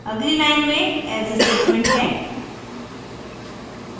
अगली line में else statement है